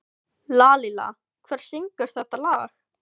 Lalíla, hver syngur þetta lag?